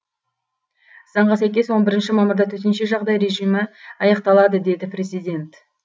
заңға сәйкес он бірінші мамырда төтенше жағдай режимі аяқталады деді президент